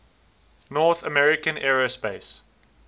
north american aerospace